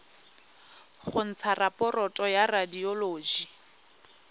go ntsha raporoto ya radioloji